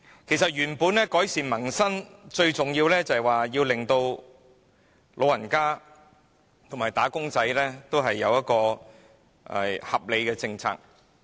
其實想改善民生，最重要的是實行對老人家和"打工仔"有保障的合理政策。